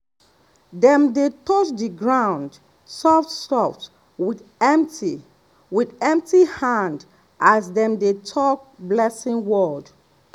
dem dey touch the ground soft-soft with empty with empty hand as dem dey talk blessing word.